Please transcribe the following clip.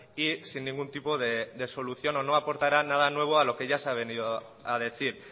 y sin ningún tipo de solución o no aportará nada nuevo a lo que ya se ha venido a decir